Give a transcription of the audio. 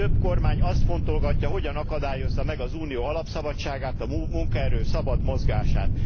Több kormány azt fontolgatja, hogyan akadályozza meg az Unió alapszabadságát, a munkaerő szabad mozgását.